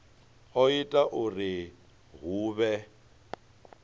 o ita uri hu vhe